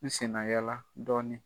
N sennayaala dɔɔnin.